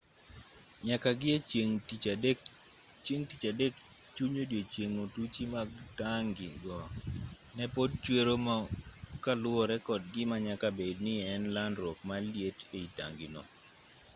nyaka gi e chieng' tich adek chuny odiechieng' otuchi mag tangi go ne pod chwero mo kaluwore kod gima nyaka bed ni ne en landruok mar liet ei tangi go